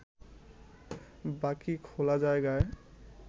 বাকি খোলা জায়গায়